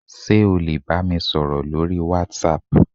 sé o le bamísoro lorí watsap